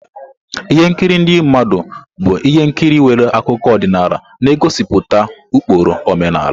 Ihe nkiri ndị mmadụ bụ ihe nkiri nwere akụkọ ọdịnala na-egosipụta ụkpụrụ omenala.